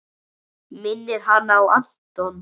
Minnir hana á Anton!